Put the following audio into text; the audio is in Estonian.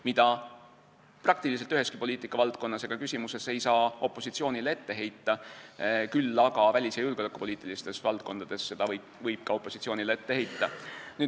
Seda ei saa peaaegu üheski poliitikavaldkonnas ega -küsimuses opositsioonile ette heita, küll aga saab seda ette heita siis, kui on tegemist välis- ja julgeolekupoliitiliste küsimustega.